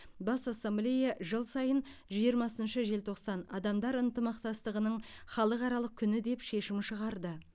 бас ассамблея жыл сайын жиырмасыншы желтоқсан адамдар ынтымақтастығының халықаралық күні деп шешім шығарды